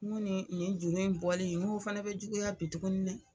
N ko nin nin juru in bɔli o fana bɛ juguya bi tuguni dɛ.